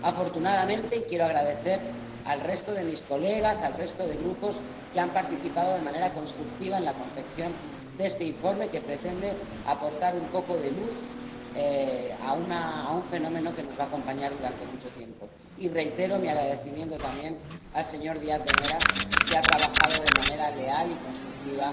Afortunadamente, quiero dar las gracias al resto de mis colegas, al resto de grupos que han participado de manera constructiva en la confección de este informe, que pretende aportar un poco de luz a un fenómeno que nos va a acompañar durante mucho tiempo, y reitero mi agradecimiento también al señor Díaz de Mera, que ha trabajado de manera leal y constructiva